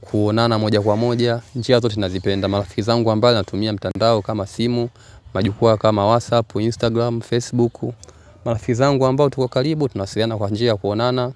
kuonana moja kwa moja njia zote ninazipenda marafiki zangu ambao wanatumia mtandao kama simu majukwaa kama whatsapp instagram facebook marafiki zangu ambao tuko karibu tunawasiliana kwa njia ya kuonana.